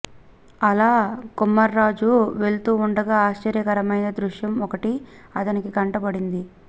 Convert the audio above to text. అలా కుమ్మర్రాజు వెళ్తూ ఉండగా ఆశ్చర్యకరమైన దృశ్యం ఒకటి అతని కంట పడింది